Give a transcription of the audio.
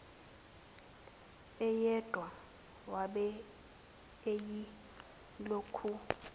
eyedwa wabe eyilokhu